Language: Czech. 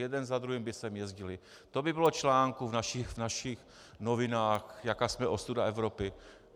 Jeden za druhým by sem jezdili, to by bylo článků v našich novinách, jaká jsme ostuda Evropy.